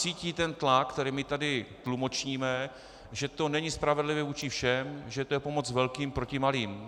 Cítí ten tlak, který my tady tlumočíme, že to není spravedlivé vůči všem, že to je pomoc velkým proti malým.